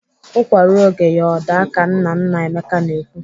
Ụkwa ruo oge ya o daa ka nna nna Emeka na-ekwu.